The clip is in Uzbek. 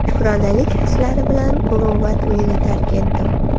Shukronalik hislari bilan Muruvvat uyini tark etdim.